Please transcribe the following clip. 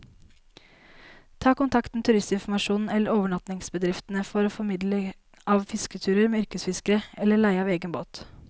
Ta kontakt med turistinformasjonen eller overnattingsbedriftene for formidling av fisketurer med yrkesfiskere, eller leie av egen båt.